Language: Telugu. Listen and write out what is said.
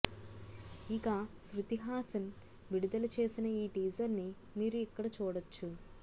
ఇక శృతి హసన్ విడుదల చేసిన ఈ టీజర్ ని మీరు ఇక్కడ చూడొచ్చు